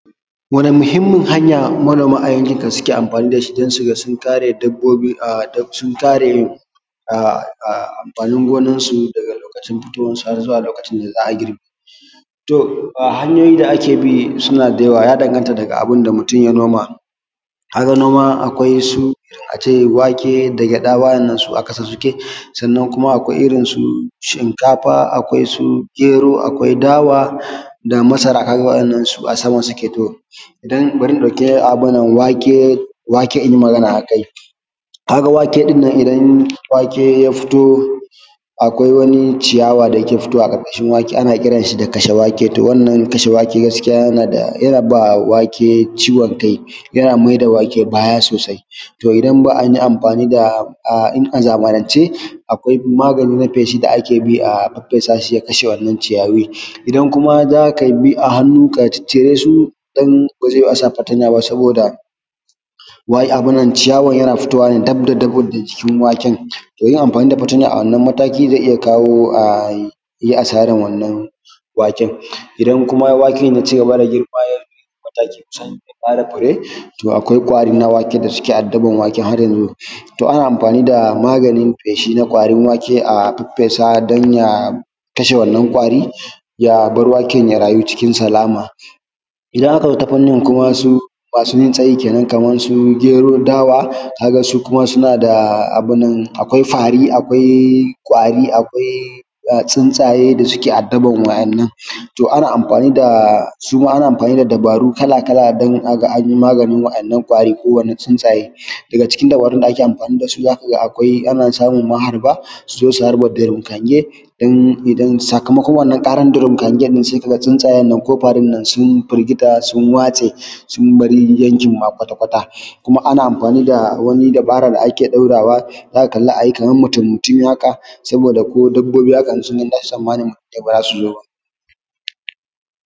Wani muhimmin hanya manoma a yankin ka suke amfani da shi don su ga sun kare dabbobi daga amfanin gonar su daga lokacin fitowar su har zuwa lokacin da za a girbe shi? To hanyoyi da ake bi suna da yawa ya danganta daga abin da mutum ya noma, kayan noma akwai su irin ace wake da gyaɗa wannan su a kasa suke, sannan kuma akwai irin su shinkafa akwai su gero akwai dawa da masara kaga waɗannan a sama suke, to bari ta ɗauke wake in yi magana a kai, kaga wake ɗin nan idan wake ya fito akwai wani ciyawa dake fitowa a karkashin wake ana kiran shi da kashe wake to wannan kashe wake gaskiya yana ba wake ciwon kai yana mai da wake baya sosai to idan ba an yi amfani da a zamanan ce akwai magani na feshi da ake bi a faffesa shi ya kashe wannan ciyayi, idan kuma zaka bi a hannu ka ciccire su dan ba zai yiwu asa fatanya ba saboda ciyawan yana fitowa dab da dab da jikin waken, to yin amfani da fatanya a wannan matakin zai iya kawo ayi asarar wannan waken idan kuma waken ya ci gaba da girma ya kai matakin kusan zai fara fure to akwai ƙwari na waken da suke adaban wake har yanzu, to ana amfani da maganin feshi na ƙwarin wake a faffesa don ya kashe wannan ƙwarin ya bar waken ya rayu ciken salama, idan aka zo ta fannin kuma su masu yin tsayi kenan kamar su gero, dawa kaga su kuma suna da abin nan akwai fari akwai ƙwari akwai tsunsaye da suke adaban waɗannan, to ana amfani da suma ana amfani da dabaru kala-kala don aga an yi maganin wannan ƙwari ko wannan tsunsaye daga cikin dabarun da ake amfani da su zaka ga akwai ana samun maharba su zo su harba durum hange sakamakwan karan durum hange sai ka ga tsunsaye ko farin nan sun firgita sun waste sun bar yankin ma kwata-kwata kuma ana amfani da wani dubara da ake ɗaurawa zaka kalla kamar mutumi-mutumi haka saboda ko dabbobi haka idan sun ganshi baza su zo ba.